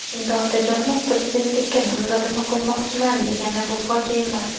Endi Otajonov prezidentlikka nomzodini qo‘ymoqchiman, degani bu fojia emas.